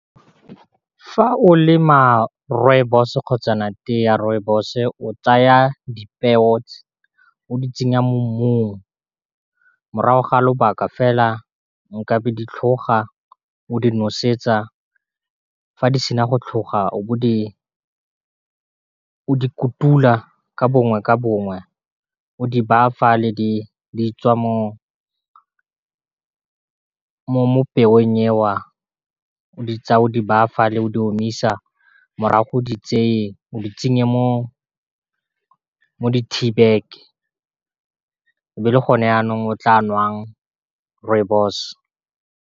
Fa o lema rooibos-o kgotsana teye ya rooibos-o tsaya di peo o di tsenya mo mmung, morago ga lobaka fela nkabe di tlhoga o di nosetsa fa di sena go tlhoga di kutula, ka bongwe ka bongwe o di bafa le di tswa mo peo ye wa, o di tsaya o di baya fale o di omisa, morago di tseye o di tsenye mo di tea bag e be e le gone yanong o tla nwang rooibos.